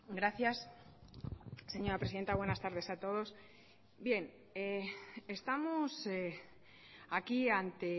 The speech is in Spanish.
gracias señora presidenta buenas tardes a todos bien estamos aquí ante